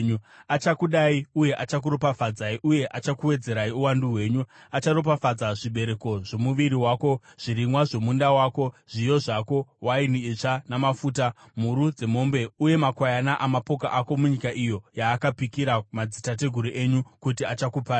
Achakudai uye achakuropafadzai uye achakuwedzerai uwandu hwenyu. Acharopafadza zvibereko zvomuviri wako, zvirimwa zvomunda wako, zviyo zvako, waini itsva namafuta, mhuru dzemombe uye makwayana amapoka ako munyika iyo yaakapikira madzitateguru enyu, kuti achakupai.